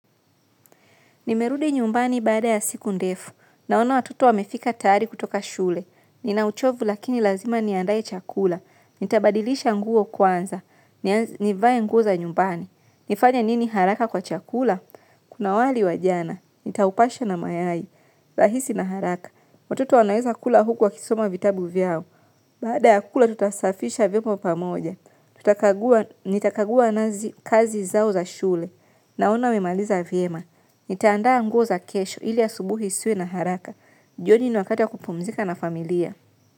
Nimerudi nyumbani baada ya siku ndefu. Naona watoto wamefika tayari kutoka shule. Nina uchovu lakini lazima niandae chakula. Nitabadilisha nguo kwanza. Nivae nguo za nyumbani. Nifanya nini haraka kwa chakula? Kuna wali wa jana. Nitaupasha na mayai. Rahisi na haraka. Watoto wanaweza kula huku wakisoma vitabu vyao. Baada ya kula tutasafisha vyombo pamoja. Tutakagua. Nitakagua nazi kazi zao za shule. Naona amemaliza vyema, nitaandaa nguo za kesho ili asubuhi isiwe na haraka. Jioni ni wakati ya kupumzika na familia.